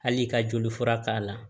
Hali ka joli fura k'a la